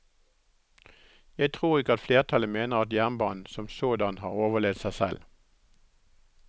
Jeg tror ikke at flertallet mener at jernbanen som sådan har overlevd seg selv.